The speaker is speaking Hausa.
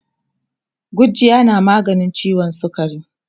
gujjiya na maganin ciwon sukari